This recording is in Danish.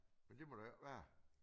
Men det må der jo ikke være